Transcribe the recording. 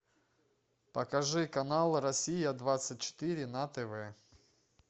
покажи канал россия двадцать четыре на тв